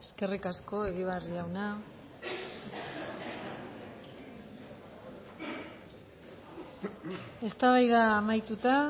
eskerrik asko egibar jauna eztabaida amaituta